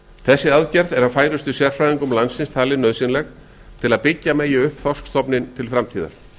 þessi aðgerð er af færustu sérfræðingum landsins talin nauðsynleg til að byggja megi upp þorskstofninn til framtíðar